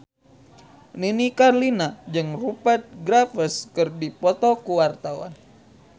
Nini Carlina jeung Rupert Graves keur dipoto ku wartawan